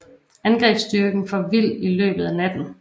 Angrebsstyrken for vild i løbet af natten